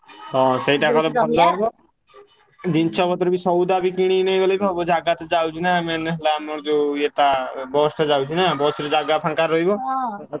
ହଁ ସେଇଟା କଲେ ଭଲ ହବ। ଜିନିଷ ପତ୍ର ବି ସଉଦା ବି କିଣିକି ନେଇଗଲେ ବି ହବ ଜାଗା ତ ଯାଉଛି ନା main ହେଲା ଆମର ଯୋଉ ଇଏଟା bus ଟା ଯାଉଛି ନା bus ରେ ଜାଗା ଫାଙ୍କା ରହିବ